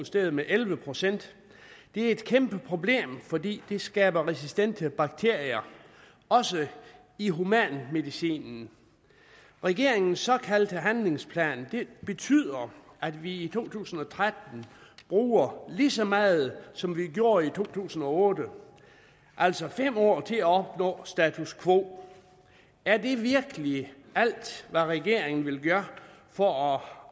steget med elleve procent det er et kæmpe problem fordi det skaber resistente bakterier også i humanmedicinen regeringens såkaldte handlingsplan betyder at vi i to tusind og tretten bruger lige så meget som vi gjorde i to tusind og otte altså fem år til at opnå status quo er det virkelig alt hvad regeringen vil gøre for